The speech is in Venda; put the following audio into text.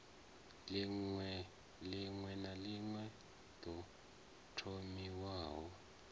ḽiṅwe na ḽiṅwe ḓo thomiwaho